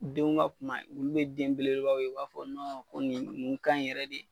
Denw ka kumba olu be den belebelebaw ye u b'a fɔ ko nɔ nin nin kanɲi yɛrɛ de